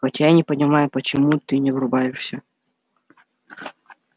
хотя я не понимаю почему ты не врубаешься